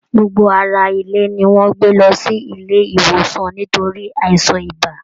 Gbogbo ará ilé ni wọn gbé lọ sí ilé ìwòsàn nítorí àìsàn ibà.